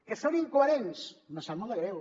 que són incoherents me sap molt de greu